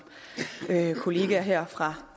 kolleger her fra